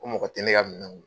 Ko mɔgɔ tɛ ne ka minɛw minɛ.